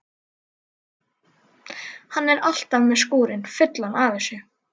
Hann er alltaf með skúrinn fullan af þessu.